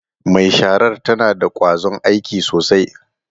Mai sharar tana da kwazon aiki sosai.